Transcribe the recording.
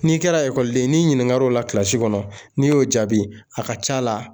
N'i kɛra ekɔliden ye n'i ɲininkala o la kɔnɔ n'i y'o jaabi a ka ca a la